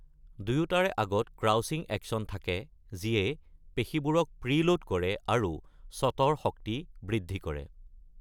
দুয়োটাৰে আগতে crouching action থাকে যিয়ে পেশীবোৰক প্ৰিলোড কৰে আৰু শ্বটৰ শক্তি বৃদ্ধি কৰে।